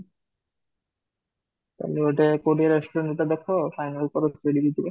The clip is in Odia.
କଲି ଗୋଟେ କୋଉଠି restaurant ଟେ ଦେଖା final କର ସେଇଠିକି ଯିବା